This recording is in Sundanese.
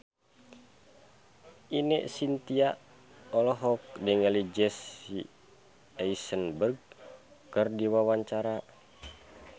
Ine Shintya olohok ningali Jesse Eisenberg keur diwawancara